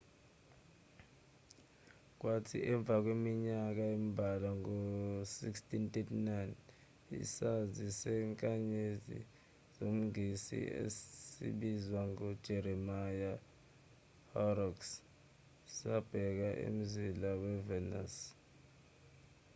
kwathi emva kweminyaka embalwa ngo-1639 isazi sezinkanyezi somngisi esibizwa ngo-jeremiya horrocks sabheka umzila we-venus